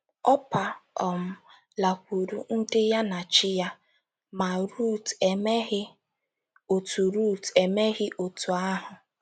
Ọpa um ‘ lakwuuru ndị ya na chi ya, ’ ma, Rut emeghị otú Rut emeghị otú ahụ.